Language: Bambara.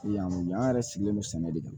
Yan nɔ yan yɛrɛ sigilen don sɛnɛ de kan